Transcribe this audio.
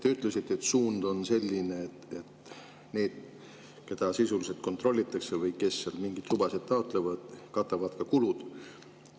Te ütlesite, et suund on selline, et need, keda sisuliselt kontrollitakse, või need, kes mingeid lubasid taotlevad, katavad ka kulud.